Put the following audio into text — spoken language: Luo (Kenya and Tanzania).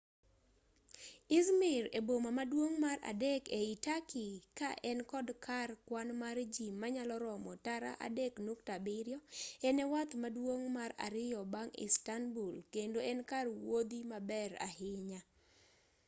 i̇zmir e boma maduong' mar adek ei turkey ka en kod kar kwan mar ji manyalo romo tara 3.7 en e wath maduong' mar ariyo bang' istanbul kendo en kar wuodhi maber ahinya